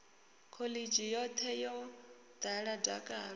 khoḽidzhi yoṱhe yo ḓala dakalo